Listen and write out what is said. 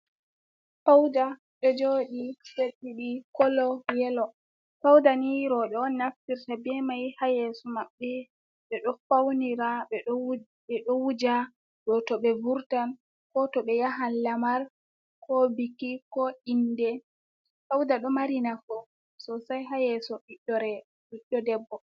Fauda ɗo joɗi set ɗidi kolo yelo, fauda ɓeɗo naftirta be mai ha yeso maɓɓe, ɓe ɗo faunira, ɓe ɗo wuja do to ɓe vurtan ko to ɓe yahan lamar ko biki, ko inde, fauda ɗo mari nafu sosai ha yeso ɓiɗɗo debbo.